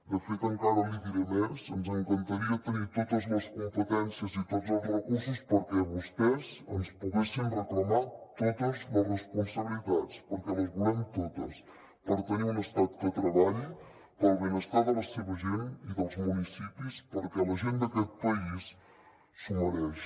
de fet encara li diré més ens encantaria tenir totes les competències i tots els recursos perquè vostès ens poguessin reclamar totes les responsabilitats perquè les volem totes per tenir un estat que treballi pel benestar de la seva gent i dels municipis perquè la gent d’aquest país s’ho mereix